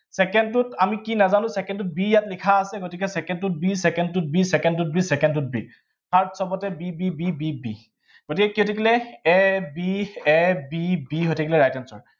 second টোত আমি কি নাজানো, second টোত b ইয়াত লিখা আছে, গতিকে second টোত b, second টোত b, second টোত third সৱতে b b b b b গতিকে কি হৈ থাকিলে a b a b b হৈ থাকিলে right answer